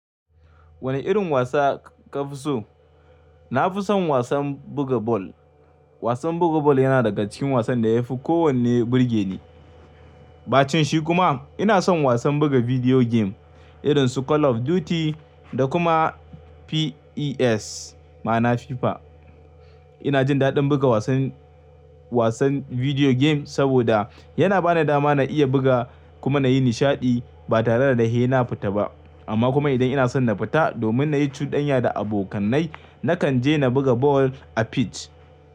Wane irin wasa ka fi so? Na fi son wasan buga bal. Wasan buga bal yana daga cikin wasan da ya fi kowanne burge ni. Baccen shi kuma, ina son wasan buga video game irin su Call of Duty, da kuma PES ma'ana FIFA. Ina jin daɗin buga wasan, wasan video game saboda yana ba ni dama na iya buga kuma na yi nishaɗi ba tare da sena fita ba. Amma kuma idan ina son na fita domin na yi cudanya da abokanai, na kan je na buga bal a pitch.